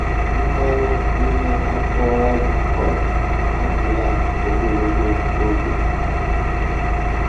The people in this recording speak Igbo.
Mmanụ ime afọ azụ cod adịla ogologo oge.